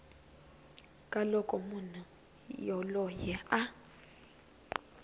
ka loko munhu yoloye a